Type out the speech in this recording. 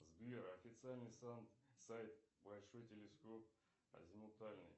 сбер официальный сайт большой телескоп азимутальный